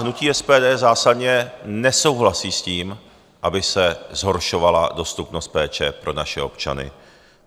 Hnutí SPD zásadně nesouhlasí s tím, aby se zhoršovala dostupnost péče pro naše občany.